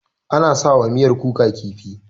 Ana sa wa miyar kuka kifi.